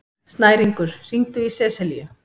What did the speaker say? Snæringur, hringdu í Seselíu.